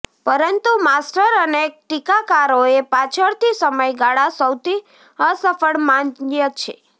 પરંતુ માસ્ટર અનેક ટીકાકારોએ પાછળથી સમયગાળા સૌથી અસફળ માન્ય છે